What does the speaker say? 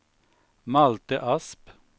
Malte Asp